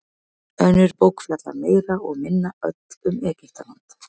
önnur bók fjallar meira og minna öll um egyptaland